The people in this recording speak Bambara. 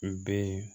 N bɛ yen